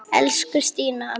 Elsku Stína amma.